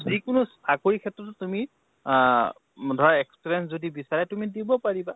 যি কোনো চাকৰি ক্ষেত্ৰতো তুমি আ ম ধৰা experience যদি বিচাৰে, তুমি দিব পাৰিবা ।